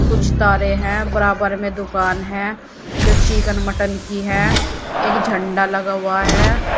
कुछ तारे हैं बराबर में दुकान है जो चिकन मटन की है एक झंडा लगा हुआ है।